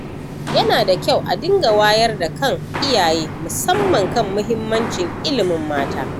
Yana da kyau a dinga wayar da kan iyaye, musamman kan muhimmacin ilimin mata.